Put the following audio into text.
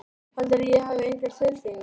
Heldurðu að ég hafi engar tilfinningar?